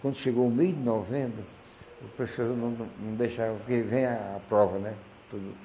Quando chegou o mês de novembro, o professor não não não deixava, porque vem a a prova, né? Tudo